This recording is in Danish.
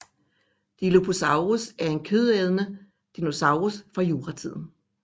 Dilophosaurus var en kødædende dinosaurus fra juratiden